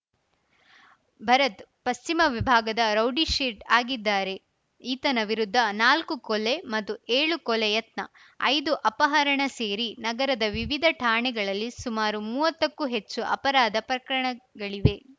ಭರತ್‌ ಪಶ್ಚಿಮ ವಿಭಾಗದ ರೌಡಿಶೀಟ್ ಆಗಿದ್ದಾರೆ ಈತನ ವಿರುದ್ಧ ನಾಲ್ಕು ಕೊಲೆ ಮತ್ತು ಏಳು ಕೊಲೆ ಯತ್ನ ಐದು ಅಪಹರಣ ಸೇರಿ ನಗರದ ವಿವಿಧ ಠಾಣೆಗಳಲ್ಲಿ ಸುಮಾರು ಮುವತ್ತಕ್ಕೂ ಹೆಚ್ಚು ಅಪರಾಧ ಪ್ರಕರಣಗಳಿವೆ